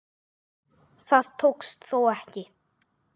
Það tókst þó ekki.